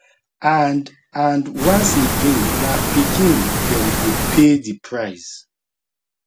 and and once again na pikin dem go pay di price